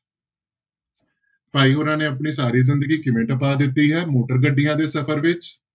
ਭਾਈ ਹੋਰਾਂ ਨੇ ਆਪਣੀ ਸਾਰੀ ਜ਼ਿੰਦਗੀ ਕਿਵੇਂ ਟਪਾ ਦਿੱਤੀ ਹੈ, ਮੋਟਰ ਗੱਡੀਆਂ ਦੇੇ ਸਫ਼ਰ ਵਿੱਚ।